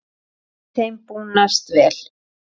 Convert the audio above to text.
Einnig þeim búnast vel.